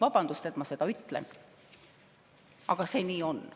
Vabandust, et ma seda ütlen, aga nii see on.